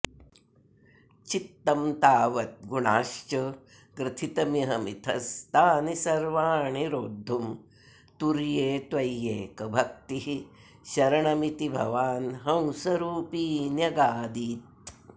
चित्तं तावद्गुणाश्च ग्रथितमिह मिथस्तानि सर्वाणि रोद्धुं तुर्ये त्वय्येकभक्तिः शरणमिति भवान्हंसरूपी न्यगादीत्